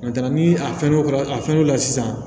ni a fɛn o fɛn a fɛn dɔ la sisan